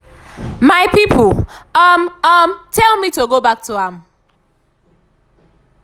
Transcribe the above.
my pipo um um tell me to go back to am.